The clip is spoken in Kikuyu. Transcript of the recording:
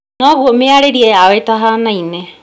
Noguo mĩarĩrie yao ĩtahanaine